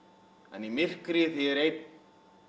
en í myrkri þegar ég er einn